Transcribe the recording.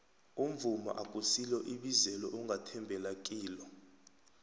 umvumo akusilo ibizelo ongathembela kilo